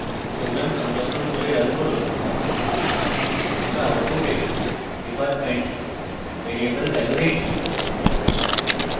program সংরক্ষণ করে run করুন আমরা output department ভ্যারিয়েবল value দেখি